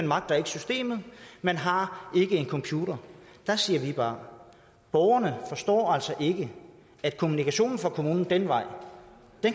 magter systemet man har ikke en computer der siger vi bare borgerne forstår altså ikke at kommunikationen fra kommunen den vej